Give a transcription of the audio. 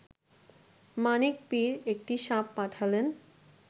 মানিক পীর একটি সাপ পাঠালেন